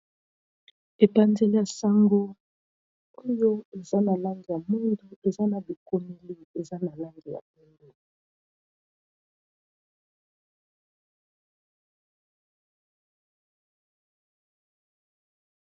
Epanzeli , ya sango oyo ! eza na langi ya mwindu ! eza na bikomeli ,eza na langi ya pembe .